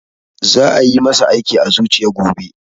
Za a yi masa aiki a zuciya gobe